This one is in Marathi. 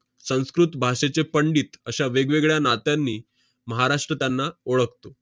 संस्कृत भाषेचे पंडित अश्या वेगवेगळ्या नात्यांनी महाराष्ट्र त्यांना ओळखतो.